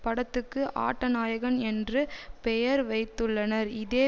படத்துக்கு ஆட்ட நாயகன் என்று பெயர் வைத்துள்ளனர் இதே